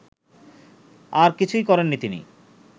আর কিছুই করেননি তিনি